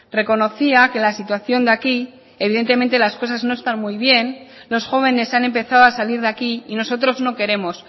reconocía que la situación de aquí evidentemente las cosas no están muy bien los jóvenes han empezado a salir de aquí y nosotros no queremos